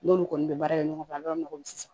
N'olu kɔni bɛ baara kɛ ɲɔgɔn fɛ a bɛ yɔrɔ min na bi sisan